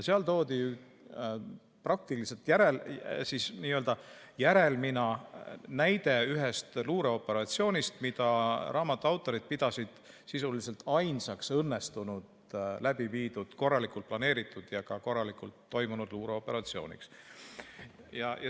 Seal toodi n‑ö järelmina näide ühest luureoperatsioonist, mida raamatu autorid pidasid sisuliselt ainsaks õnnestunult läbi viidud, korralikult planeeritud ja ka korralikult toimunud luureoperatsiooniks.